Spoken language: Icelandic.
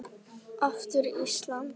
Aftur Ísland.